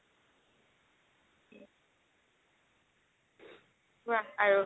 কুৱা আৰু